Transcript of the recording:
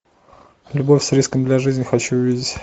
любовь с риском для жизни хочу увидеть